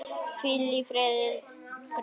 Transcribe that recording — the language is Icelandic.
Hvíl í friði Guðs.